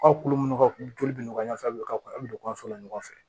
Aw kulo munnu ka kuru bɛ nɔgɔya a bɛ ka don an fɛ yan ɲɔgɔn fɛ